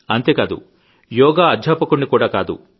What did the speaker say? అంతేకాదు యోగా అధ్యాపకున్ని కూడా కాదు